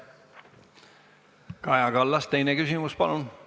Kaja Kallas, teine küsimus, palun!